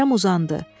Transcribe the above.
Kərəm uzandı.